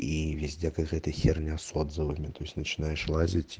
и везде какая-то херня с отзывами то есть начинаешь лазить